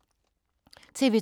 TV 2